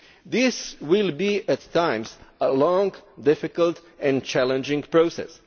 This will be at times a long, difficult and challenging process.